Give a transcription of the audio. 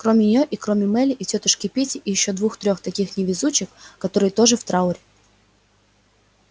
кроме нее и кроме мелли и тётушки питти и ещё двух-трех таких же невезучих которые тоже в трауре